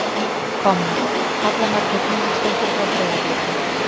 Komnar: Halla Margrét Hinriksdóttir frá Breiðabliki.